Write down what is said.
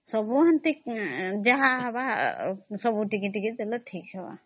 ହବ ଆଉ ଯା ହେଲେ ବି ସବୁ ଟିକେ ଟିକେ ରହିବ ଆଉ